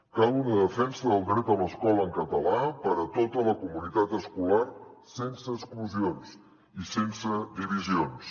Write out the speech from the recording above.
cal una defensa del dret a l’escola en català per a tota la comunitat escolar sense exclusions i sense divisions